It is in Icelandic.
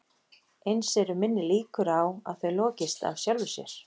Eins eru minni líkur á að þau lokist af sjálfu sér.